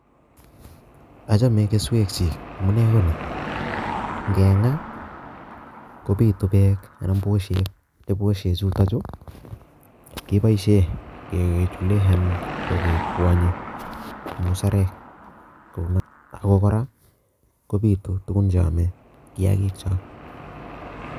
Achome keswekchik amune koni:Ingengaa kobiitu beek, anan ko busiek, ak busiek chuton chu keboishien anan ko kengwanyen musarek ako kora kobiitu tuguuk cheome kiyaagiik chechok